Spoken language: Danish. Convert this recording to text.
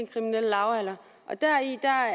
kriminelle lavalder